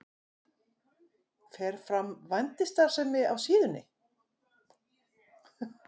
Fer fram vændisstarfsemi á síðunni?